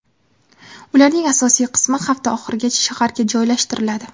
Ularning asosiy qismi hafta oxirigacha shaharga joylashtiriladi.